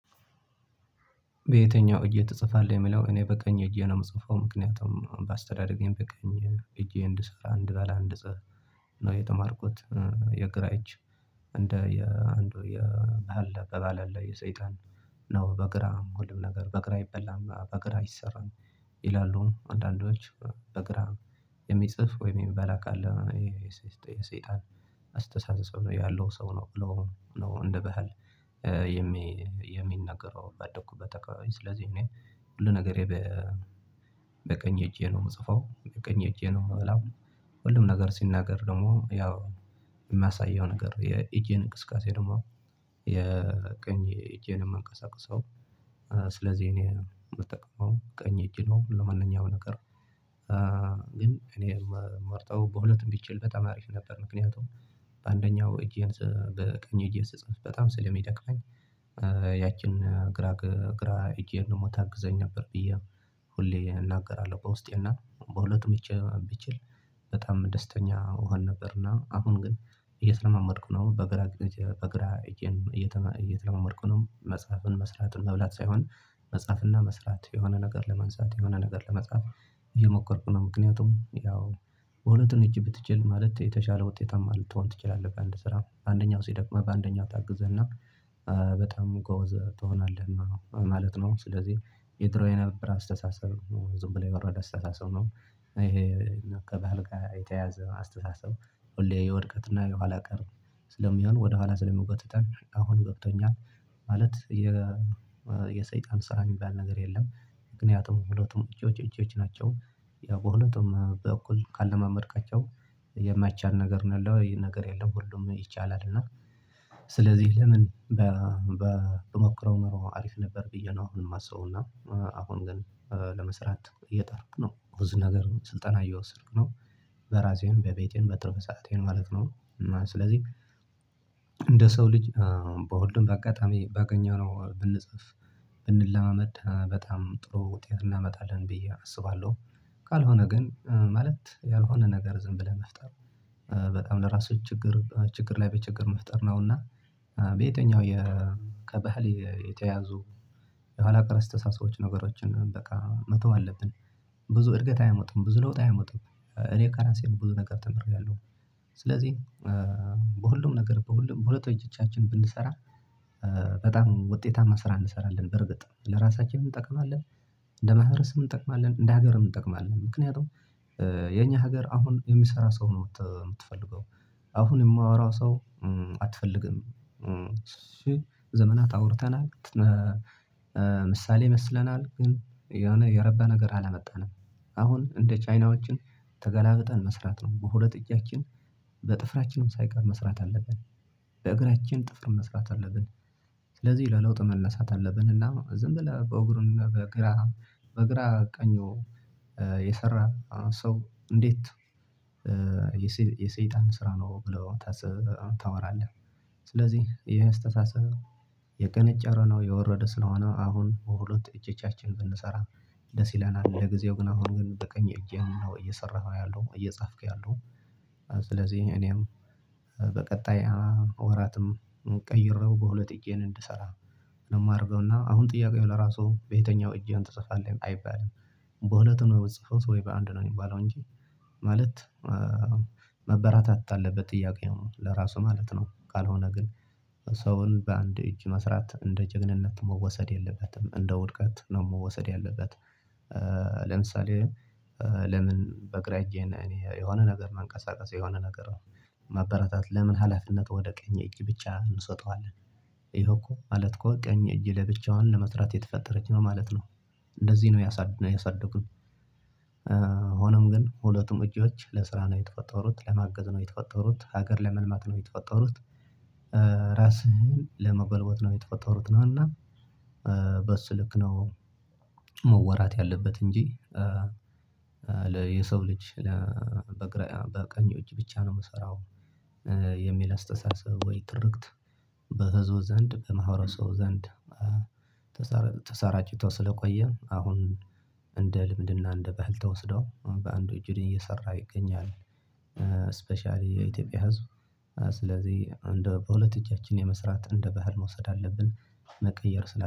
በየትኛው? እጅ ትጽፋለህ የሚለው እኔ በቀኝ እጄ ነው የምጽፈው ምክንያቱም ባስተዳደገኝ በቀኝ እጄ እንድሰራ አንድ ባለ አንድጽህፍ ነው የተማርኩት። የግራ እጅ እንደ የአንዱ የባህል አባባል ላይ የሰይጣን ነው። በግራ ሁሉም ነገር በግራ አይበላም በግራ አይሰራም ይላሉ አንዳንዶች በግራ የሚጽፍ ወይም የሚበላ ካለ የሰይጣን አስተሳሰብ ነው ያለው ሰው። ነው እንደ ባህል። የሚነግረው ባደኩበት አካባቢ ስለዚህ እኔ ሁሉ ነገሬ በቀኝ እጄ ነው የምጽፈው በቀኝ እጄ ነው የምበላው። ሁሉም ነገር ሲናገር ደግሞ ያው የማሳየው ነገር የእጄ እንቅስቃሴ ደግሞ የቀኝ እጄን ማንቀሳቀሰው ስለዚህ እኔ የምጠቀመው ቀኝ እጄ ነው ለማንኛውም ነገር። ግን እኔ የምመርጠው በሁለቱም ብችል በጣም አሪፍ ነበር። ምክንያቱም በአንደኛው እጄን በቀኝ እጄ ስጽፍ በጣም ስለሚደክመኝ ያችን ግራ እጄን ደግሞ ታግዘኝ ነበር ብዬ ሁሌ እናገራለሁ። በውስጤ እና በሁለት እጄ ብችል በጣም ደስተኛ እሆን ነበርና። አሁን ግን እየተለማመድኩ ነው በግራ በግራ እጄን እየተለማምድኩ ነው። መጽሐፍን መስራትን መብላት ሳይሆን መጽሐፍና መስራት የሆነ ነገር ለማንሳት የሆነ ነገር ለመጻፍ እየሞከርኩ ነው። ምክንያቱም ያው በሁለቱን እጅ ብትችል ማለት የተሻለ ውጤታማ ልትሆን ትችላለህ በአንድ ስራ በአንደኛው ሲደክመህ በአንደኛው ታግዝህ እና በጣም ጎበዝ ትሆናለህ እና ማለት ነው። ስለዚህ የድሮ የነበረ አስተሳሰብ ነው ዝም ብሎ የወረደ አስተሳሰብ ነው። ይሄ ከባህል ጋር የተያዘዘ አስተሳሰብ ሁሌ የወድቀትና የኋላ ቀር ስለሚሆን ወደኋላ ስለሚጎትተን አሁን ገብቶኛል። ማለት የሰይጣን ስራ የሚባል ነገር የለም። ምክንያቱም ሁሉቱም እጆች ናቸው ያው በሁለቱም በኩል ካለማመድካቸው የማይቻል ነገር ነው ያለው ነገር የለም ሁሉም ይቻላል። እና ስለዚህ ለምን ብሞክረው ኖሮ አሪፍ ነበር። ብዬ ነው ማስበውና አሁን ግን ለመስራት እየጣርኩ ነው ብዙ ነገር ስልጠና እየወሰድኩ ነው። በራሴን በቤቴን በትርፍ ሰአቴን ማለት ነው እና ስለዚህ እንደ ሰው ልጅ በሁሉም በአጋጣሚ ባገኘነው ብንጽፍ ብንለማመድ በጣም ጥሩ ውጤት እናመጣለን ብዬ አስባለሁ። ካል ሆነ ግን ማለት ያልሆነ ነገር ዝም ብለን መፍጠር በጣም ለራስህ ችግር ችግር ላይ በችግር መፍጠር ነውና። በየትኛው? ከባህል የተያዙ የኋላ ቀር አስተሳሰቦች ነገሮችን በቃ መተው አለብን። ብዙ እድገት አያመጡም ብዙ ለውጥ አያመጡም እኔ ከራሴ ብዙ ነገር ተምሬያለሁ። ስለዚህ በሁሉም ነገር በሁሉም ሁለት እጃችን ብንሰራ በጣም ውጤታማ ስራ እንሰራለን በርግጥ ለራሳችን እንጠቅማለን። እንደ ማህበረሰብ እንጠቅማለን እንደ ሀገር እንጠቅማለን ምክንያቱም የኛ ሀገር አሁን የሚሰራ ሰው ነው የምትፈልገው። አሁን የሚያወራ ሰው አትፈልግም። ዘመናት አውርተናል። ምሳሌ መስለናል ግን የሆነ የረባ ነገር አላመጣንም። አሁን እንደ ቻይናውያን ተገላብጠን መስራት ነው በሁለት እጃችን በጥፍራችንም ሳይቀር መስራት አለብን። በእግራችን ጥፍር መስራት አለብን። ስለዚህ ለለውጥ መነሳት አለብን እና ዝም ብለህ በእግሩን በግራ በግራ ቀኙ የሰራ ሰው እንዴት? የሰይጣን ስራ ነው ብለው ታወራለህ። ስለዚህ ይሄ የአስተሳሰብ የቀነጨረ ነው የወረደ ስለሆነ አሁን በሁለት እጆቻችን ብንሰራ። ደስ ይለናል ለጊዜው ግን አሁን ግን በቀኝ እጄን ነው እየሰራህ ያለው እየጻፍክ ያለው። ስለዚህ እኔም በቀጣይ ወራትም ቀይሬው በሁለት እጄን እንድሰራ ነው የማደርገው እና አሁን ጥያቄው ለራሱ በየትኛው እጄን ትጽፋለን አይባልም። በሁለት ነው የምትጽፈው? ወይ በአንድ ነው የሚባለው እንጂ። ማለት መብራራት አለበት ጥያቄውም ለራሱ ማለት ነው። ካል ሆነ ግን ሰውን በአንድ እጅ መስራት እንደ ጀግንነት መወሰድ የለበትም እንደ ውድቀት ነው መወሰድ ያለበት። ለምሳሌ ለምን? በግራ እጄ እኔ የሆነ ነገር ማንቀሳቀስ የሆነ ነገር ነው። ማበረታት ለምን? ሀላፍነት ወደ ቀኝ እጅ ብቻ እንሰጠዋለን። ይኸው እኮ ማለት እኮ ቀኝ እጅ ለብቻዋን ለመስራት የተፈጠረች ነው ማለት ነው። እንደዚህ ነው ያሳደጉን። ሆኖም ግን ሁለቱም እጆች ለስራ ነው የተፈጠሩት ለማገዝ ነው የተፈጠሩት ሀገር ለመልማት ነው የተፈጠሩት። ራስህን ለማጎልበት ነው የተፈጠሩት ነውና በሱ ልክ ነው። መወራት ያለበት እንጂ። የሰው ልጅ በግራ በቀኝ እጅ ብቻ ነው የሚሰራው። የሚል አስተሳሰብ ወይ ትርክት። በህዝብ ዘንድ በማህበረሰቡ ዘንድ ተሰራጭቶ ስለቆየ አሁን እንደ ልምድና እንደ ባህል ተወስዶ በአንዱ እጁ እየሰራ ይገኛል። ስፔሻሊ የኢትዮጵያ ህዝብ ስለዚህ እንደ በሁለት እጃችን መስራት እንደ ባህል መውሰድ አለብን። መቀየር ስላለ